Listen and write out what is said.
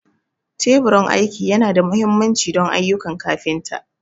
Teburin aiki yana da mahimmanci don ayyukan kafinta.